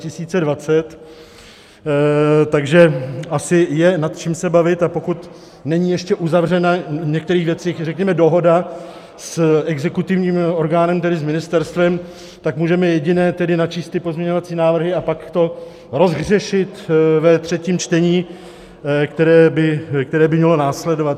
Takže je asi nad čím se bavit, a pokud není ještě uzavřena v některých věcech, řekněme, dohoda s exekutivním orgánem, tedy s ministerstvem, tak můžeme jediné, tedy načíst ty pozměňovací návrhy a pak to rozhřešit ve třetím čtení, které by mělo následovat.